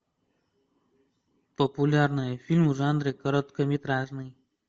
популярный фильм в жанре короткометражный